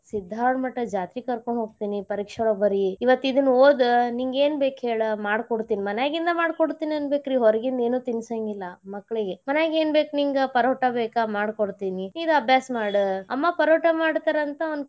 ಸಿದ್ದಾರೂಢ ಮಠದ್ ಜಾತ್ರಿ ಕರ್ಕೊಂಡ್ ಹೊಕ್ಕೇನೀ ಪರೀಕ್ಷೆಯೊಳಗ್ ಬರಿ ಇವತ್ತ್ ಇದನ್ನ ಓದ ನಿಂಗ ಏನ್ ಬೇಕ್ ಹೇಳ ಮಾಡ್ಕೊಡ್ತೀನಿ ಮನ್ಯಾಗಿಂದ ಮಾಡಿ ಕೊಡ್ತಿನಿ ಅನ್ನಬೇಕರಿ ಹೊರಗಿಂದ ಏನು ತಿಂಸಂಗಿಲ್ಲಾ ಮಕ್ಕಳಿಗೆ ಮನ್ಯಾಗ್ ಏನ್ ಬೇಕಾ ನಿಂಗ Parota ಬೇಕಾ ಮಾಡ್ಕೊಡ್ತಿನಿ ಈಗ ಅಭ್ಯಾಸ ಮಾಡ ಅಮ್ಮಾ Parota ಮಾಡ್ತಾರಂತ ಅವ್ನ.